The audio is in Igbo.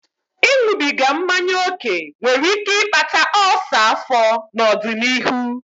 Ịṅụbiga mmanya ókè nwere ike ịkpata ulcer afọ n'ọdịnihu.